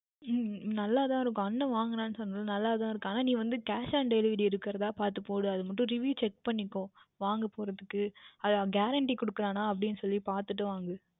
உம் நன்றாக தான் இருக்கும் அண்ணன் வாங்கினான் என்று சொன்னேன் அல்ல நன்றாக தான் இருக்கும் நீ வந்து Cash on delivery இருக்கின்றதா பார்த்து போடு அது மட்டும் Review Check பண்ணிக்கோ வாங்க போவதற்கு Guarantee குடுக்கிறார்களா என்று அப்படியா என்று சொல்லி பார்த்து வாங்கு